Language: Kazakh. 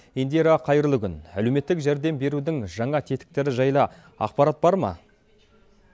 индира қайырлы күн әлеуметтік жәрдем берудің жаңа тетіктері жайлы ақпарат бар ма